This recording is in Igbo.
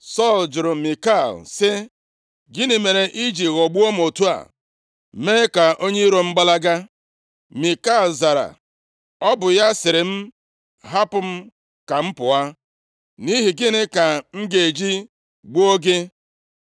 Sọl jụrụ Mikal sị, “Gịnị mere i ji ghọgbuo m otu a, mee ka onye iro m gbalaga?” Mikal zara, “Ọ bụ ya sịrị m, ‘Hapụ m ka m pụọ, nʼihi gịnị ka m ga-eji gbuo gị?’ ”